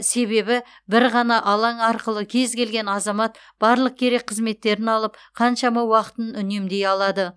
себебі бір ғана алаң арқылы кез келген азамат барлық керек қызметтерін алып қаншама уақытын үнемдей алады